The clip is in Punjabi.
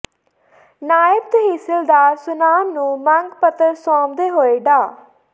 ਨਾਇਬ ਤਹਿਸੀਲਦਾਰ ਸੁਨਾਮ ਨੂੰ ਮੰਗ ਪੱਤਰ ਸੌਂਪਦੇ ਹੋਏ ਡਾ